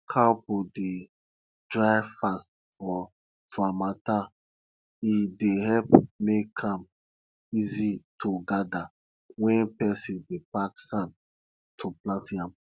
cow poo dey dry fast for for harmattan e dey help make am easy to gather when person dey pack sand to plant yam